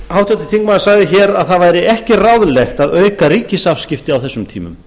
háttvirtur þingmaður sagði að það væri ekki ráðlegt að auka ríkisafskipti á þessum tímum